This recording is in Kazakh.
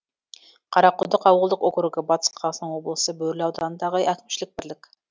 қарақұдық ауылдық округі батыс қазақстан облысы бөрлі ауданындағы әкімшілік бірлік